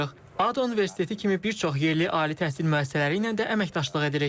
ADA Universiteti kimi bir çox yerli ali təhsil müəssisələri ilə də əməkdaşlıq edirik.